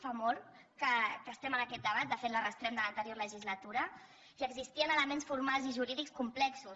fa molt que estem en aquest debat de fet l’arrosseguem des de l’anterior legislatura i existien elements formals i jurídics complexos